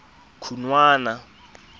khunwana